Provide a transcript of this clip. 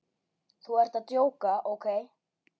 Þú ert að djóka, ókei?